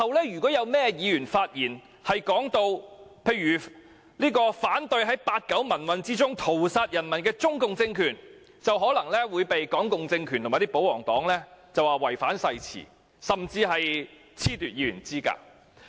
如有任何議員於日後發言時提到反對在八九民運中屠殺人民的中共政權，便可能會被港共政權和保皇黨指控違反誓詞，甚至被褫奪議員資格。